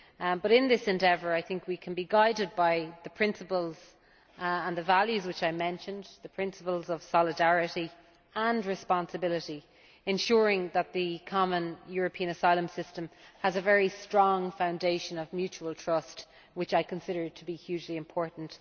But in this endeavour, I think we can be guided by the principles and the values which I mentioned, the principles of solidarity and responsibility, ensuring that the CEAS has a very strong foundation of mutual trust, which I consider to be hugely important.